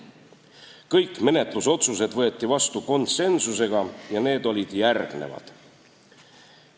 Kõik menetlusotsused võeti vastu konsensusega ja need olid järgmised.